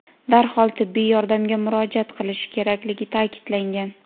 darhol tibbiy yordamga murojaat qilishi kerakligi ta’kidlangan.